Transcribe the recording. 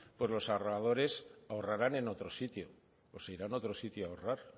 pues los ahorradores ahorrarán en otro sitio o se irán a otro sitio a ahorrar